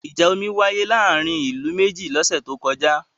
Ìjà omi wáyé láàárín ìlú méjì lọ́sẹ̀ tó kọjá.